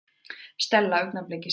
Stella augnabliki síðar.